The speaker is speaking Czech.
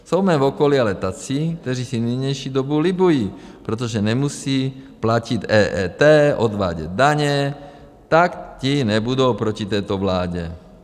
Jsou v mém okolí ale tací, kteří si v nynější době libují, protože nemusí platit EET, odvádět daně, tak ti nebudou proti této vládě.